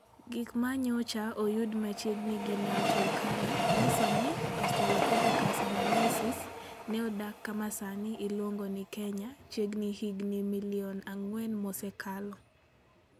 Gik ma nyocha oyud machiegni gi Nam Turkana nyiso ni Australopithecus anamensis ne odak kama sani iluongo ni Kenya chiegni higini milion ang'wen mosekalo.